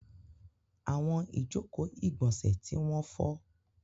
Àwọn ìjọkò igbónsẹ̀ tí wọ́n fọ́.